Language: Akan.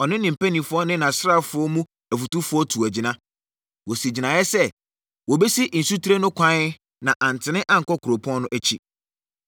ɔne ne mpanimfoɔ ne nʼasraafoɔ mu afotufoɔ tuu agyina. Wɔsii gyinaeɛ sɛ, wɔbɛsi nsutire no kwan na antene ankɔ kuropɔn no akyi.